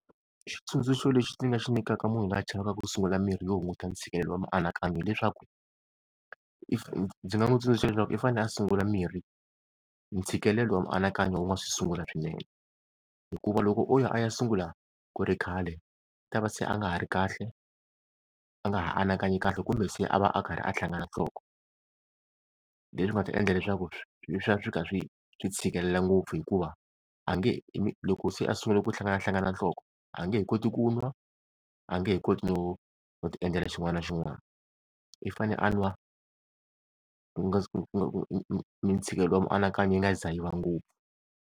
Xitsundzuxo lexi ndzi nga xi nyikaka munhu loyi a chavaka ku sungula mirhi yo hunguta ntshikelelo wa mianakanyo hileswaku, if ndzi nga n'wi tsundzuxa leswaku i fanele a sungula mirhi ntshikelelo wa mianakanyo u nga se sungula swinene hikuva loko o ya a ya sungula ku ri khale u ta va se a nga ha ri kahle, a nga ha anakanyi kahle kumbe se a va a karhi a hlangana nhloko leswi nga ta endla leswaku swi ya swi kha swi tshikelela ngopfu, hikuva a nge loko se a sungule ku hlanganahlangana nhloko a nge he koti ku n'wa a nge he koti no no ti endlela xin'wana na xin'wana. i fanele a n'wa mitshikelelo ya mianakanyo yi nga se za yi va ngopfu.